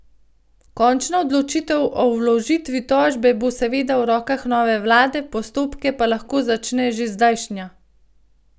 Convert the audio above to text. Končna odločitev o vložitvi tožbe bo seveda v rokah nove vlade, postopke pa lahko začne že zdajšnja.